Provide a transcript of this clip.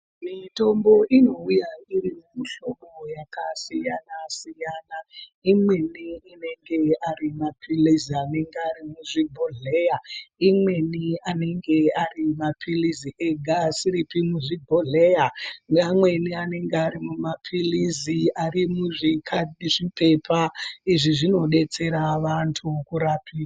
Mitombo inouya iri mumihlobo yakasiyana siyana imweni inenge ari mapirizi anonga ari muzvibhodhleya imweni anenge arimapirizi ega asiripi muzvibhodhleya neamweni anenge arimumapirizi arimuzvipepa izvi zvinodetsera vantu kurapiwa.